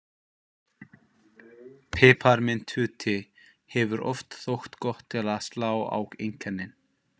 Piparmyntute hefur oft þótt gott til að slá á einkennin.